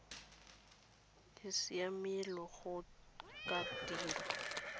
e siamele go ka dirwa